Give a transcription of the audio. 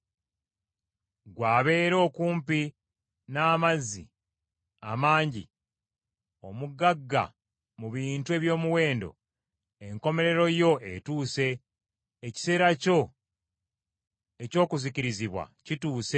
Gwe abeera okumpi n’amazzi amangi, omugagga mu bintu eby’omuwendo, enkomerero yo etuuse, ekiseera kyo eky’okuzikirizibwa kituuse.